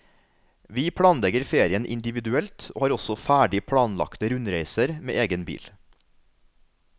Vi planlegger ferien individuelt og har også ferdig planlagte rundreiser med egen bil.